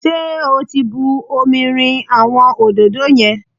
Ṣé o ti bu omi rin àwọn òdòdó yẹn?